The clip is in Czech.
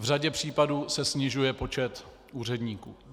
V řadě případů se snižuje počet úředníků.